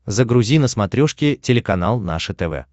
загрузи на смотрешке телеканал наше тв